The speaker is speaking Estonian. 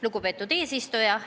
Lugupeetud eesistuja!